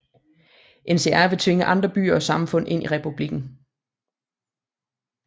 NCR vil tvinge andre byer og samfund ind i republikken